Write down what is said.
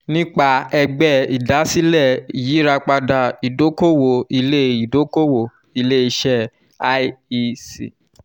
nípa ẹgbẹ́ ìdásílẹ̀ iyirapada idokowo ile idokowo ile ise iec